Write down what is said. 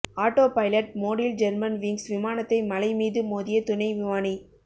auto pilot மோடில் Germanwings விமானத்தை மலை மீது மோதிய துணை விமானி